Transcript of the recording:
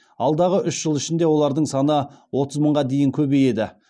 алдағы үш жыл ішінде олардың саны отыз мыңға дейін көбейеді